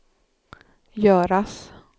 göras